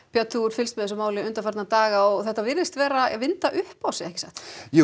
björn þú hefur fylgst með þessu máli undanfarna daga þetta virðist vera að vinda upp á sig ekki satt